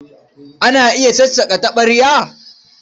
Ana iya sassaƙa taɓarya?